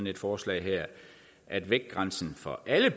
et forslag her at vægtgrænsen for alle